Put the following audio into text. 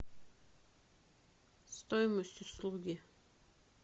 стоимость услуги